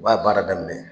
U b'a baara daminɛ